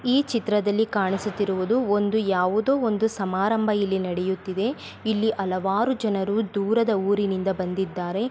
ಈ ಚಿತ್ರದಲ್ಲಿ ಕಾಣಿಸುತ್ತಿರುವುದು ಒಂದು ಯಾವುದೊ ಒಂದು ಸಮಾರೋಬ ಇಲ್ಲಿ ನಡಿಯುತ್ತಿದೆ ಇಲ್ಲಿ ಹಲವಾರು ಜನರು ದೂರದ ಊರಿನಿಂದ ಬಂದಿದ್ದಾರೆ .